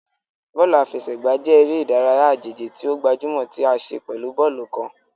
Bóòlù àfẹsẹ̀gbá jẹ eré ìdárayá àjèjì ti o gbajúmò tí a ṣe pẹ̀lú bóòlù kán.